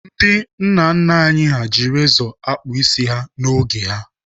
Ndị nna nna anyị ji rezọ akpụ isi n'oge ha.